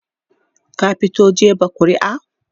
ka fito jefa ƙuri'a?